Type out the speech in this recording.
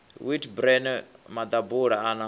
wheat bran maḓabula a na